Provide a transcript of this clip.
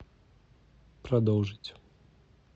продолжить